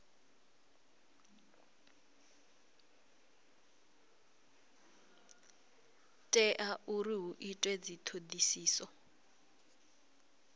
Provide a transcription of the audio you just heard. tea uri hu itwe dzithodisiso